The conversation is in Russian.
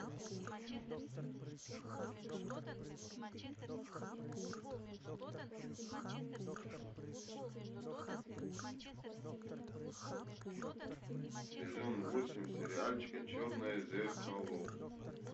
сезон восемь сериальчика черное зеркало